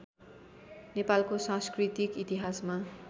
नेपालको सांस्कृतिक इतिहासमा